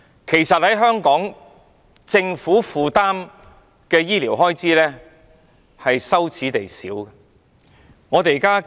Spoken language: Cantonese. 其實，在香港，政府負擔的醫療開支是羞耻地少。